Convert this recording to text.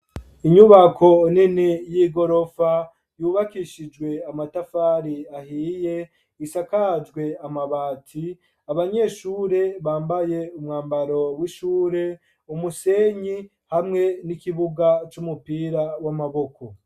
Inyubako nini, y'igorofa, yubakishijwe amatafari ahiye, isakajwe amabati; abanyeshure, bambaye umwambaro w'ishure, umusenyi, hamwe n'ikibuga c'umupira w'amaboko.